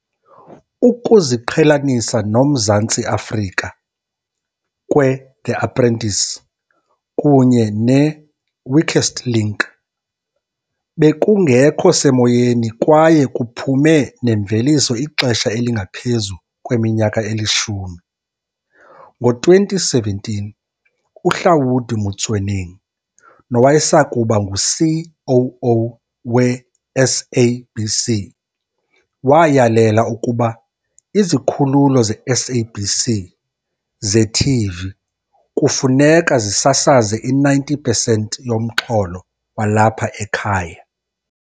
Ukuziqhelanisa noMzantsi Afrika kwe-The Apprentice kunye ne-Weakest Link bekungekho semoyeni kwaye kuphume nemveliso ixesha elingaphezu kweminyaka elishumi. Ngo-2017, uHlaudi Motsoeneng nowayesakuba ngu-COO we-SABC, wayalela ukuba izikhululo ze-SABC ze-TV kufuneka zisasaze i-90 percent yomxholo walapha ekhaya.